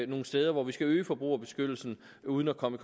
nogle steder hvor vi skal øge forbrugerbeskyttelsen uden at komme